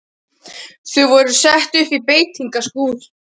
Þau voru sett upp í beitingaskúr.